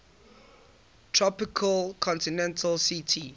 tropical continental ct